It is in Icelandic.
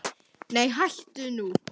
Nei hættu nú!